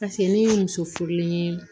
Paseke ni muso furulen ye